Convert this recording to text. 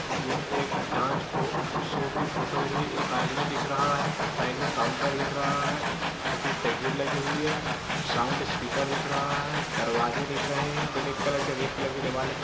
ये एक dance pro show की फोटो दिख रही है। एक आदमी दिख रहा है। साइड में काउंटर दिख रहा है। छोटी सी तस्वीर लगी हुई है। साउंड स्पीकर दिख रहा है। दरवाजे दिख रहे हैं। ब्लैक कलर के रेड कलर के दीवाल दिख र --